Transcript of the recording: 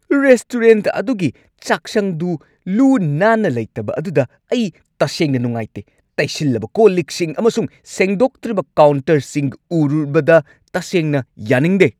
Restaurant ꯑꯗꯨꯒꯤ ꯆꯥꯛꯁꯪꯗꯨ ꯂꯨ-ꯅꯥꯟꯅ ꯂꯩꯇꯕ ꯑꯗꯨꯗ ꯑꯩ ꯇꯁꯦꯡꯅ ꯅꯨꯡꯉꯥꯏꯇꯦ ꯫ ꯇꯩꯁꯤꯜꯂꯕ ꯀꯣꯜ-ꯂꯤꯛꯁꯤꯡ ꯑꯃꯁꯨꯡ ꯁꯦꯡꯗꯣꯛꯇ꯭ꯔꯤꯕ ꯀꯥꯎꯟꯇꯔꯁꯤꯡ ꯎꯔꯨꯕꯗ ꯇꯁꯦꯡꯅ ꯌꯥꯅꯤꯡꯗꯦ ꯫